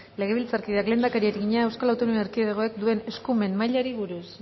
legebiltzarkideak lehendakariari egina eaek duen eskumen mailari buruz